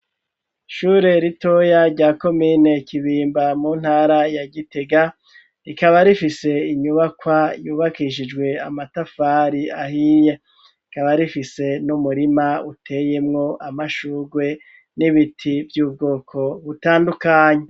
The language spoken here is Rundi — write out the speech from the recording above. Ishure ritoya rya komine Kibimba mu ntara ya Gitega rikaba rifise inyubakwa yubakishijwe amatafari ahiye rikaba rifise n'umurima uteyemwo amashurwe n'ibiti vy'ubwoko butandukanye.